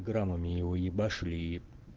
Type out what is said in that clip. граммами его ебашили и